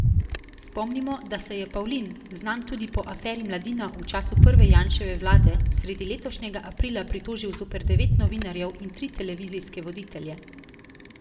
Spomnimo, da se je Pavlin, znan tudi po aferi Mladina v času prve Janševe vlade, sredi letošnjega aprila pritožil zoper devet novinarjev in tri televizijske voditelje.